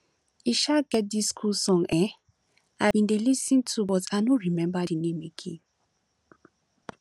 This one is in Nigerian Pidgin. e um get dis cool song um i bin dey lis ten to but i no remember the name name again